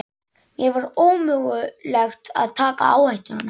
Mér var ómögulegt að taka áhættuna.